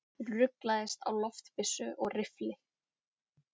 Ruglaðist á loftbyssu og riffli